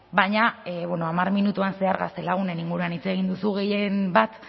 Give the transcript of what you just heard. baina bueno hamar minutuan zehar gaztelagunen inguruan hitz egin duzu gehien bat